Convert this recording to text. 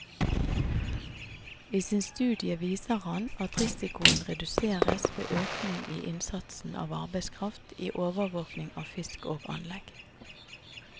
I sin studie viser han at risikoen reduseres ved økning i innsatsen av arbeidskraft i overvåking av fisk og anlegg.